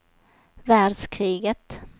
världskriget